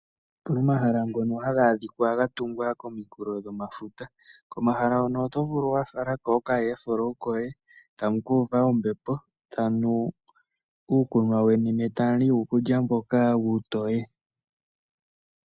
Opu na omahala gamwe ngoka haga kala ga tungwa komunkulo gwefuta, komahala hono oto vulu wa fala ko okayeflowu koye tamukuuva ombepo, tamu nu ne tamu li uukulya weni mboka uutoye.